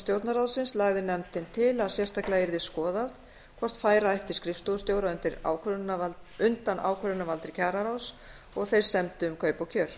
stjórnarráðsins lagði nefndin til að sérstaklega yrði skoðað hvort færa ætti skrifstofustjóra undan ákvörðunarvaldi kjararáðs og þeir semdu um kaup og kjör